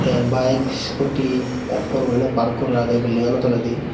the bike scooty ekkur guri park gora agep building ano toledi.